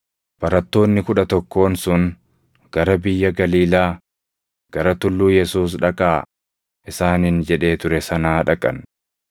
Barattoonni kudha tokkoon sun gara biyya Galiilaa, gara tulluu Yesuus dhaqaa isaaniin jedhee ture sanaa dhaqan.